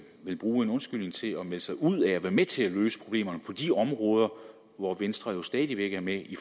vil bruge en undskyldning til at melde sig ud af at være med til at løse problemerne på de områder hvor venstre jo stadig væk er med i